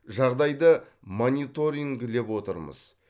жағдайды мониторингілеп отырмыз